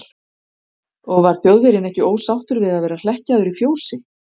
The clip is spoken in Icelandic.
Og var Þjóðverjinn ekki ósáttur við að vera hlekkjaður í fjósi?